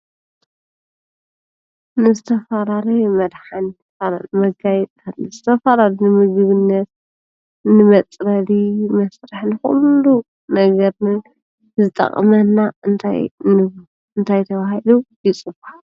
ምስ ተፋራር መድኃን መጋይታት ንስተፋራርንምግብነት ንመጽረሊ መሥርሕን ዂሉ ነገርኒ ዝጠቕመና እንታይናሙ እንታይተዉሂሉ ይጽዋዕ?